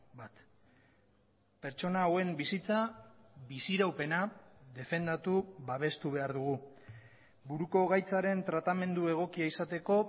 bat pertsona hauen bizitza biziraupena defendatu babestu behar dugu buruko gaitzaren tratamendu egokia izateko